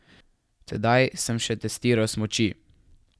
Tedaj sem še testiral smuči.